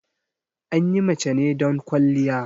Anyi mace ne don ƙwaliya